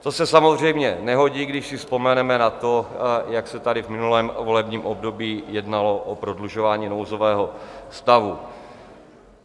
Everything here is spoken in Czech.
To se samozřejmě nehodí, když si vzpomeneme na to, jak se tady v minulém volebním období jednalo o prodlužování nouzového stavu.